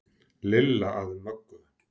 Lilla að Möggu.